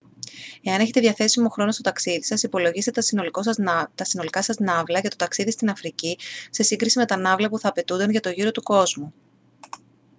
εάν έχετε διαθέσιμο χρόνο στο ταξίδι σας υπολογίστε τα συνολικά σας ναύλα για το ταξίδι στην αφρική σε σύγκριση με τα ναύλα που θα απαιτούνταν για το γύρο του κόσμου